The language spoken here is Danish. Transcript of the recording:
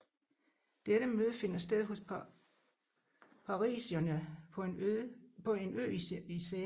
Dette møde finder sted hos Parisiierne på en ø i Seinen